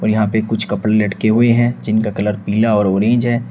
यहां पे कुछ कपड़े लटके हुए हैं जिनका कलर पीला और ऑरेंज है।